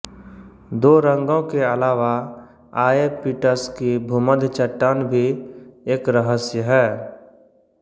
दो रंगों के अलावा आऐपिटस की भूमध्य चट्टान भी एक रहस्य है